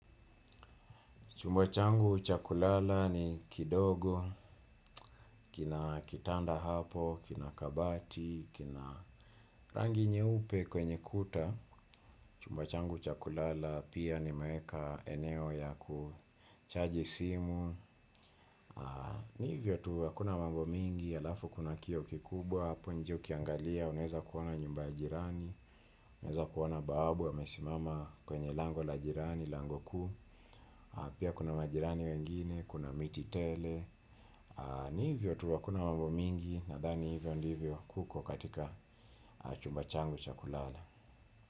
Chumba changu cha kulala ni kidogo, kina kitanda hapo, kina kabati, kina rangi nyeupe kwenye kuta. Chumba changu cha kulala pia nimeeka eneo ya kuchaji simu. Ni hivyo tu hakuna manmo mingi, alafu kuna kioo kikubwa hapo, nje ukiangalia, unaeza kuona nyumba ya jirani, unaeza kuona bawabu, amesimama kwenye lango la jirani, lango kuu. Pia kuna majirani wengine, kuna miti tele. Ni hivyo tu hakuna mambo mingi nathani hivyo ndivyo kuko katika chumba changu chakulala.